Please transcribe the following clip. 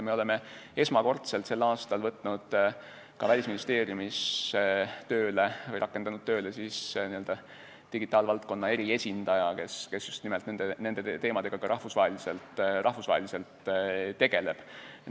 Me oleme esmakordselt sel aastal rakendanud ka Välisministeeriumis tööle digitaalvaldkonna eriesindaja, kes just nimelt nende teemadega rahvusvaheliselt tegeleb.